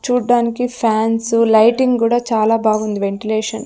చూడ్డానికి fans lighting గుడా చాలా బాగుంది వెంటిలేషన్ .